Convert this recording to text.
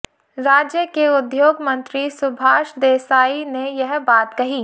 राज्य के उद्योग मंत्री सुभाष देसाई ने यह बात कही